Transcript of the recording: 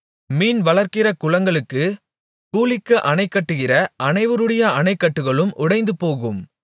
மீன் வளர்க்கிற குளங்களுக்கு கூலிக்கு அணை கட்டுகிற அனைவருடைய அணைக்கட்டுகளும் உடைந்துபோகும்